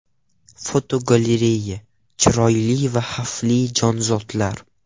Fotogalereya: Chiroyli va xavfli jonzotlar.